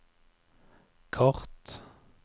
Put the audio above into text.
kart